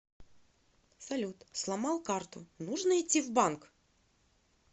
салют сломал карту нужно идти в банк